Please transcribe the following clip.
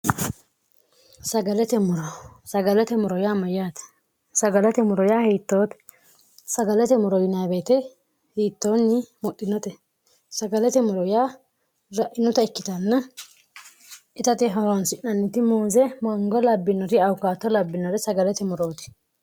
sagalate muro sagalate muro yaa mayyaate sagalate moro yaa hiittoote sagalate moro yinbeete hiittoonyi muxinote sagalate moro yaa ra'rinuta ikkitanna itate horonsi'nanniti muunse mango labbinori aukaatto labbinore sagalate murooti